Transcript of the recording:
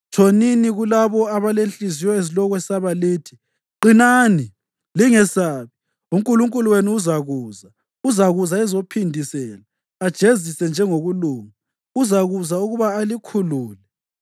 tshonini kulabo abalezinhliziyo ezilokwesaba lithi: “Qinani, lingesabi; uNkulunkulu wenu uzakuza, uzakuza ezophindisela, ajezise ngokulunga uzakuza ukuba alikhulule.”